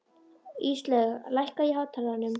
Íslaug, lækkaðu í hátalaranum.